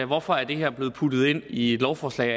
hvorfor er det her blevet puttet ind i et lovforslag